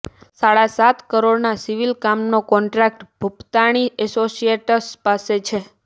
સાડા સાત કરોડના સિવિલ કામનો કોન્ટ્રાક્ટ ભૂપતાણી એસોસિયેટ્સ પાસે છે